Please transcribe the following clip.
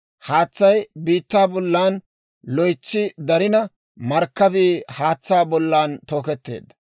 Haatsay biittaa bollan loytsi darina, markkabii haatsaa bollan tooketteedda.